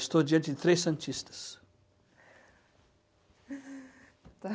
Estou diante de três santistas.